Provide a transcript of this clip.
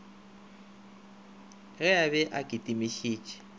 ge a be a kitimišitše